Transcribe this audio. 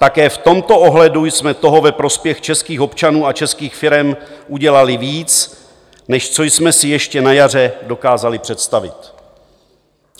Také v tomto ohledu jsme toho ve prospěch českých občanů a českých firem udělali víc, než co jsme si ještě na jaře dokázali představit.